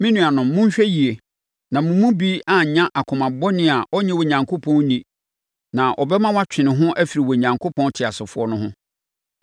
Me nuanom monhwɛ yie na mo mu bi annya akoma bɔne a ɔrennye Onyankopɔn nni na ɛbɛma watwe ne ho afiri Onyankopɔn teasefoɔ no ho.